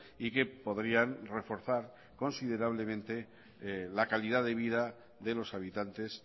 y que podrían reforzar considerablemente la calidad de vida de los habitantes